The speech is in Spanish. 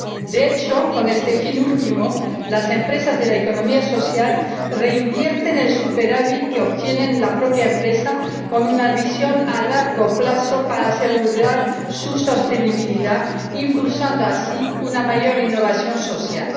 De hecho, con este fin último, las empresas de la economía social reinvierten el superávit que obtiene la propia empresa con una visión a largo plazo para asegurar su sostenibilidad, impulsando así una mayor innovación social.